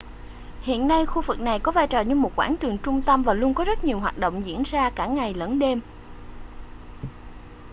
hiện nay khu vực này có vai trò như một quảng trường trung tâm và luôn có rất nhiều hoạt động diễn ra cả ngày lẫn đêm